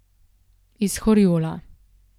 Iz Horjula.